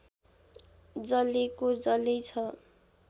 जलेको जल्यै छ